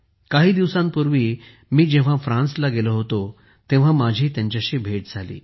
काही दिवसांपूर्वी मी जेव्हा फ्रान्सला गेलो होतो तेव्हा माझी त्यांच्याशी भेट झाली